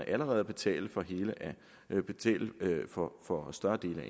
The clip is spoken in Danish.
allerede at betale for for større del af